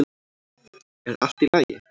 Er allt í lagi?